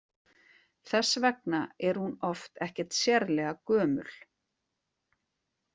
Þess vegna er hún oft ekkert sérlega gömul.